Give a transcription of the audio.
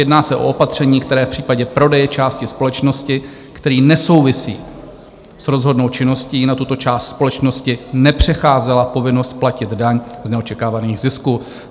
Jedná se o opatření, které v případě prodeje části společnosti, který nesouvisí s rozhodnou činností na tuto část společnosti, nepřecházela povinnost platit daň z neočekávaných zisků.